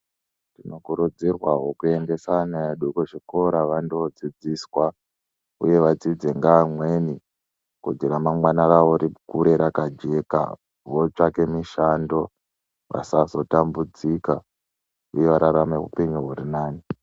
Tinokurudzirwawo kuendesa vana vedu kuzvikora vandodzidziswa uye vadzidze nevamweni kuti ramangwani rawo rikure rakajeka votsvaka mishando vasazotambudzika uye vararame hupenyu hurinane.